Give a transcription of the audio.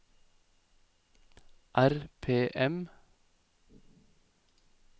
RPM